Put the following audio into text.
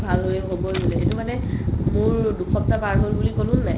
ভাল হ'লে ক'ব দিলে এটো মানে মোৰ দুসপ্তাহ পাৰ হ'ল বুলি ক'লো নে নাই